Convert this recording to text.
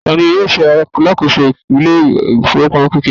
ta ni yíò ṣe alákòso ilé ifowopamọ kekere